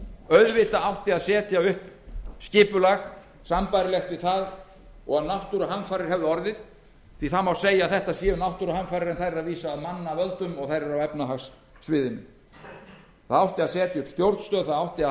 auðvitað átti að setja upp skipulag sambærilegt við það ef náttúruhamfarir hefðu orðið því að segja má að þetta séu náttúruhamfarir þær eru að vísu af mannavöldum og þær eru á efnahagssviðinu það átti að setja upp stjórnstöð það átti að